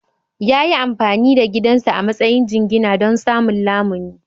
Ya yi amfani da gidansa a matsayin jingina don samun lamuni.